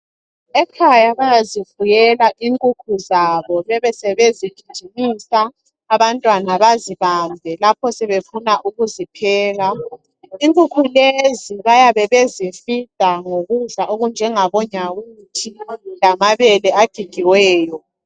ekhaya bayazifuyela inkukhu zabo besebezigijimisa abantwana bazibambe lapho sebefuna ukuzipheka inkukhu lezi bayabe bezi feeder ngokudla okunjengabo nyawuthi lamabele agigiweyo